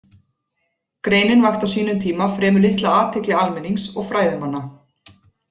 Greinin vakti á sínum tíma fremur litla athygli almennings og fræðimanna.